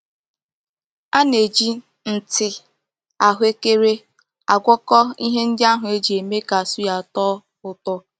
A na-eji nti ahuekere agwako ihe ndi ahu e ji eme ka suya too úto.